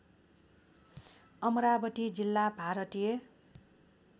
अमरावती जिल्ला भारतीय